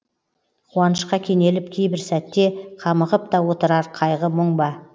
қуанышқа кенеліп кейбір сәтте қамығып та отырар қайғы мұң ба